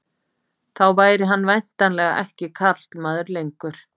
Þá væri hann væntanlega ekki karlmaður lengur.